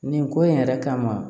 Nin ko in yɛrɛ kama